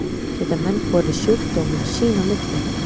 geta menn borið sjúkdóminn sín á milli